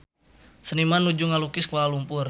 Seniman nuju ngalukis Kuala Lumpur